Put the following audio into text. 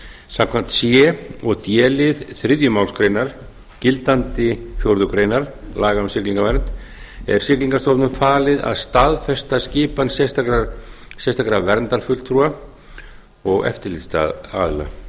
samkvæmt c og d lið þriðju málsgrein gildandi fjórðu grein laga um siglingavernd er siglingamálastofnun falið að staðfesta skipan sérstakra verndarfulltrúa og eftirlitsaðila